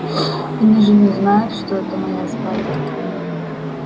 они же не знают что это моя спальня